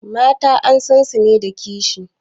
Mata an san su da kishi.